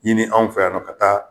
Ini anw fɛ yan nɔ ka taa